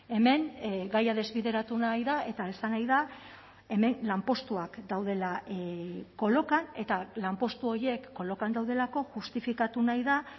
hemen gaia desbideratu nahi da eta esan nahi da hemen lanpostuak daudela kolokan eta lanpostu horiek kolokan daudelako justifikatu nahi da